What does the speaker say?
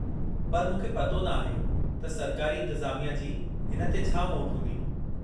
पर मूंखे पतो न आहे त सरकारी इंतिज़ामिया जी हिन ते छा मोट हूंदी।